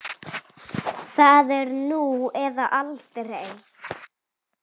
Það er nú eða aldrei.